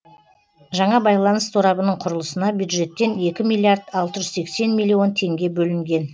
жаңа байланыс торабының құрылысына бюджеттен екі миллиард алты жүз сексен миллион теңге бөлінген